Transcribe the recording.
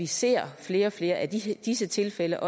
ser flere og flere af disse disse tilfælde